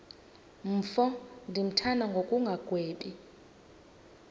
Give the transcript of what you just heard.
mfo ndimthanda ngokungagwebi